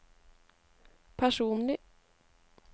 personlig